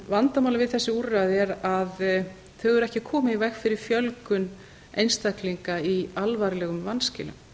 vandamálið við þessi úrræði er að þau eru ekki að koma í veg fyrir fjölgun einstaklinga í alvarlegum vanskilum